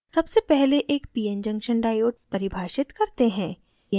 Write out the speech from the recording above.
सबसे पहले एक pn junction diode परिभाषित करते हैं